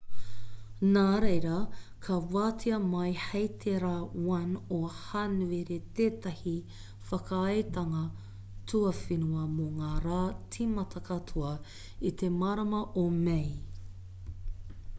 nā reira ka wātea mai hei te rā 1 o hānuere tētahi whakaaetanga tuawhenua mō ngā rā tīmata katoa i te marama o mei